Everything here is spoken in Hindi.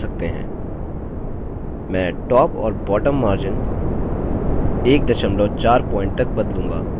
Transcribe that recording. मैं top और bottom margins 14pt तक बदलूँगा